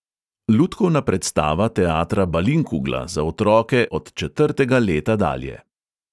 Lutkovna predstava teatra balinkugla za otroke od četrtega leta dalje.